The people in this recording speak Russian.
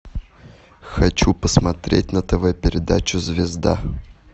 хочу посмотреть на тв передачу звезда